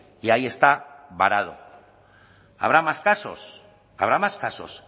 y ahí está varado habrá más casos habrá más casos